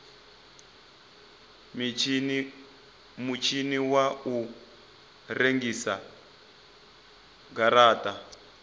mutshini wa u rengisa garata